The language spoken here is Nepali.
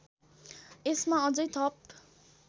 यसमा अझै थप